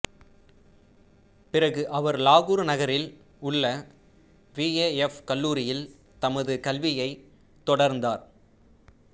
பிறகு அவர் லாகூர் நகரில் உள்ள பிஏஎஃப் கல்லூரியில் தமது கல்வியைத் தொடர்ந்தார்